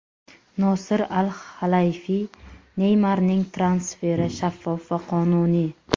Nosir Al-Halayfiy: Neymarning transferi shaffof va qonuniy.